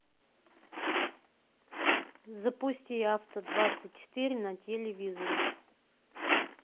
запусти авто двадцать четыре на телевизоре